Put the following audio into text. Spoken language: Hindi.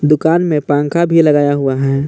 दुकान में पंखा भी लगाया हुआ है।